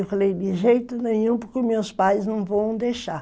Eu falei, de jeito nenhum, porque meus pais não vão deixar.